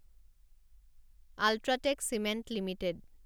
UltraTech cement limited